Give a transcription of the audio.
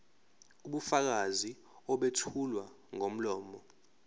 ubufakazi obethulwa ngomlomo